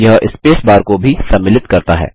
यह space bar को भी सम्मिलित करता है